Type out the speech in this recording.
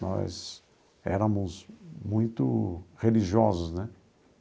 Nós éramos muito religiosos, né?